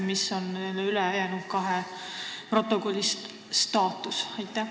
Milline on nende ülejäänud kahe protokolli staatus?